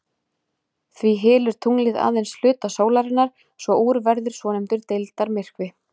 Því hylur tunglið aðeins hluta sólarinnar svo úr verður svonefndur deildarmyrkvi.